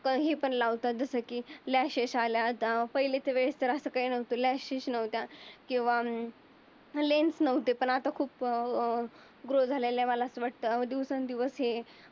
पण ही पण लावतात. जस की ईलास्टिक केसला त पहिले त पहिलीच्या वेळेस असं काही नव्हतं इलास्टिक नव्हतं. कीव्हा अं लेन्स लावते. पण आता खूप व अं ग्रो झालेला वाला असं वाटतं दिवसांनी दिवस हे